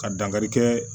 Ka dankarikɛ